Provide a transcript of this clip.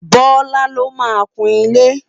bọla ló má kún ile